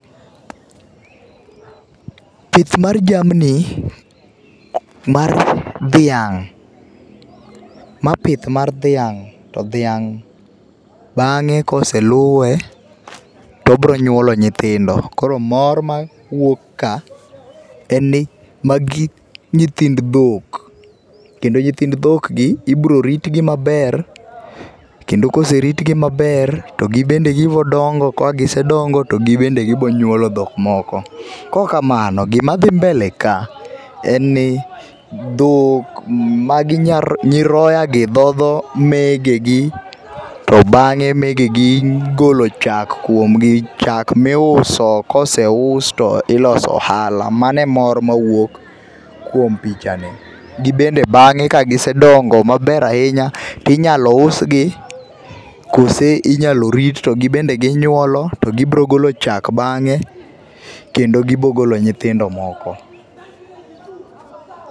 Pith mar jamni mar dhiang', ma pith mar dhiang' to dhiang' bang'e koseluwe tobro nyuolo nyithindo, koro mor mawuok ka en ni magi nyithind dhok kendo nyithind dhok gi ibro rit gi maber kendo koserit gi maber to gibende gibo dongo, ka gisedongo to gibende gibo nyuolo dhok moko. Kaok kamano gima dhi mbele ka en ni dhok, magi ,nyiroya gi dhodho megegi to bange megegi golo chak kuom gi chak miuso koseus to iloso ohala .Mane e mor mawuok kuom pichani. Gin bende bange ka gisedongo maber ahinya tinyalo usgi kose inyalo rit to gibende ginyuolo to gibro golo chak bange kendo gibro golo nyithindo moko